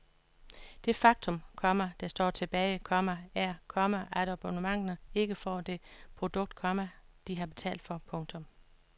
Det faktum, komma der står tilbage, komma er, komma at abonnenterne ikke får det produkt, komma de har betalt for. punktum